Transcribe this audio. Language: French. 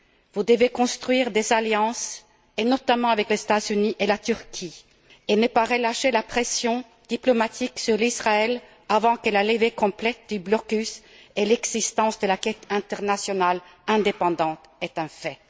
Vous devez construire des alliances, et notamment avec les États Unis et la Turquie, et ne pas relâcher la pression diplomatique sur Israël avant que la levée complète du blocus et l'existence de l'enquête internationale indépendante soient un fait.